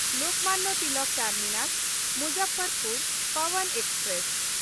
Lokmanya Tilak ᱴᱟᱨᱢᱤᱱᱟᱥ–ᱢᱩᱡᱟᱯᱷᱚᱨᱯᱩᱨ Pawan express